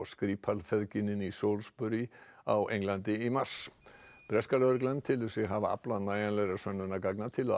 Skripal feðginin í Salisbury á Englandi í mars breska lögreglan telur sig hafa aflað nægjanlegra sönnunargagna til